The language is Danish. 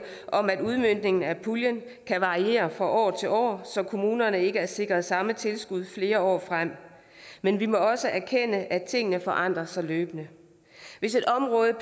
af at udmøntningen af puljen kan variere fra år til år så kommunerne ikke er sikret samme tilskud flere år frem men vi må også erkende at tingene forandrer sig løbende hvis et område